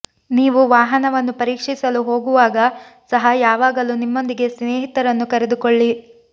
ನೀವು ವಾಹನವನ್ನು ಪರೀಕ್ಷಿಸಲು ಹೋಗುವಾಗ ಸಹ ಯಾವಾಗಲೂ ನಿಮ್ಮೊಂದಿಗೆ ಸ್ನೇಹಿತರನ್ನು ಕರೆದುಕೊಳ್ಳಿ